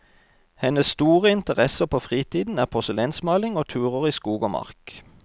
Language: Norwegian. Hennes store interesser på fritiden er porselensmaling og turer i skog og mark.